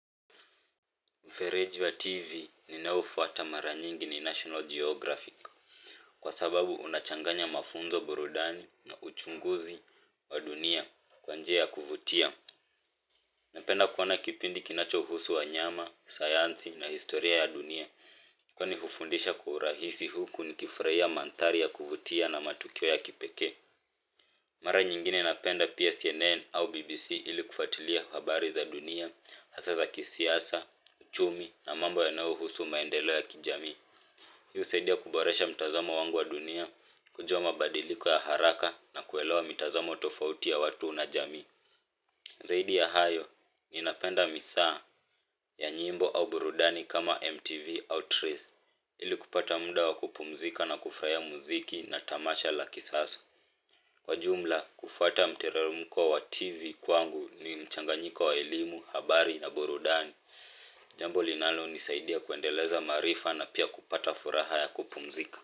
Mfereji TV ninao ufuata mara nyingi ni National Geography. Kwa sababu unachanganya mafunzo burudani na uchunguzi wa dunia kwa njia ya kuvutia napenda kuona kipindi kinachohusu wanyama, sayansi na historia ya dunia kwani hufundisha urahisi huku ni kifurahia mandhari ya kuvutia na matukio ya kipekee mara nyingine napenda pia CNN au BBC ili kufuatilia habari za dunia hasa za kisiasa, uchumi na mambo yanayohusu maendeleo ya kijamii husaidia kuboresha mtazamo wangu wa dunia kujua mabadiliko ya haraka na kuelewa mitazamo tofauti ya watu na jamii zaidi ya hayo ninapenda nidhaa ya nyimbo au burudani kama MTV au Trace ili kupata muda wa kupumzika na kufurahia muziki na tamasha la kisasa kwa jumla kufuata mteremko wa TV kwangu ni mchanganyiko wa elimu habari na burudani jambo linalonisaidia kuendeleza maarifa na pia kupata furaha ya kupumzika.